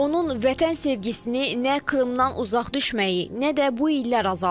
Onun vətən sevgisini nə Krımdan uzaq düşməyi, nə də bu illər azaldıb.